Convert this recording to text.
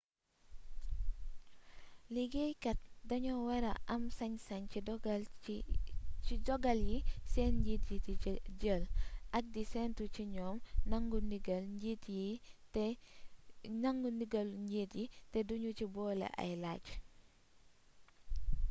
liggéey kaat doño wara am sañ-sañ ci dogal yi sen njiit di jël ak di sentu ci ñom nangu ndigal njiit yi te duñu ci bole ay lacc